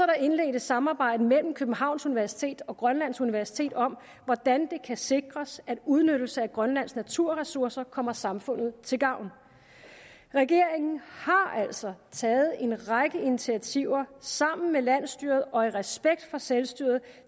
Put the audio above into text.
er indledt et samarbejde mellem københavns universitet og grønlands universitet om hvordan det kan sikres at udnyttelse af grønlands naturressourcer kommer samfundet til gavn regeringen har altså taget en række initiativer sammen med landsstyret og i respekt for selvstyret